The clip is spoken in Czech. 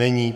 Není.